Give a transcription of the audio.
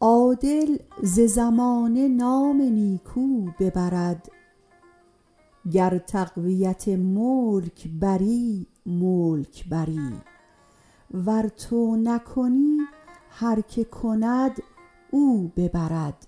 عادل ز زمانه نام نیکو ببرد گر تقویت ملک بری ملک بری ور تو نکنی هر که کند او ببرد